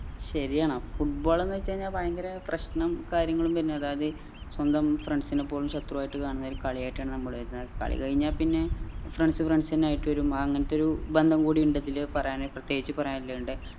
ശരിയാണ് football ന്ന് വെച്ച കഴിനാ ഭയങ്കര പ്രശ്നം കാര്യങ്ങൾ പിന്നെ അതായത് ഏർ സ്വന്തം friends നെ പോലും ശത്രു ആയിട്ട് കാണുന്ന ഒരു കളിയായിട്ടാണ് കളി കഴിഞ്ഞ പിന്നെ friends friends എന്നെ ആയിട്ട് വരും അങ്ങനത്തൊരു ഒരു ബന്ധം കൂടി ഇണ്ട് ഇതിൽ പറയാൻ പ്രേത്യേകിച് പറയാൻ ഇളേള ഇണ്ട്